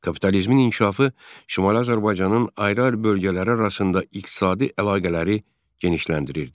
Kapitalizmin inkişafı Şimali Azərbaycanın ayrı-ayrı bölgələri arasında iqtisadi əlaqələri genişləndirirdi.